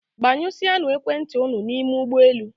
Gbanyụsịanụ ekwentị unu n'ime ụgbọelu